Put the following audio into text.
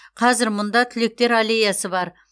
қазір мұнда түлектер аллеясы бар